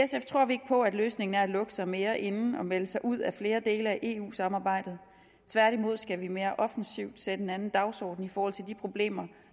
løsningen er at lukke sig mere inde og melde sig ud af flere dele af eu samarbejdet tværtimod skal vi mere offensivt sætte en anden dagsorden i forhold til de problemer